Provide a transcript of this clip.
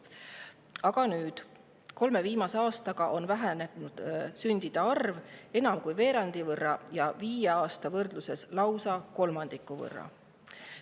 Aga kolme viimase aastaga on sündide arv vähenenud enam kui veerandi võrra ja viie aasta võrdluses lausa kolmandiku võrra.